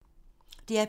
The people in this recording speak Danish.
DR P2